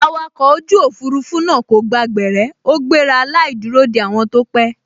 Awakọ̀ ojú òfurufú náà kò gba gbẹ̀rẹ́ ó gbéra láì dúró de àwọn tó pẹ́